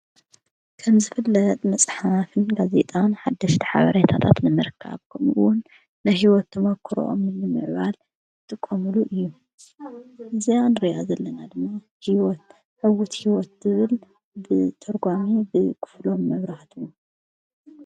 ከምዝፍለጥ መጻሓፍን ጋዜጣን ሓደሽተ ሓበርይታጣት ንምርካኣብቦምውን ንሕይወት ቶመክርኦም ምልምዕባል ትቆምሉ እዩ ዘያንርያ ዘለና ድና ሕይወት ትብል ብተርጓሜ ኽፍሎም ነብራህት።